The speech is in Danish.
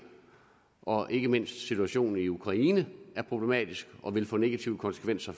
og ikke mindst situationen i ukraine er problematisk og vil få negative konsekvenser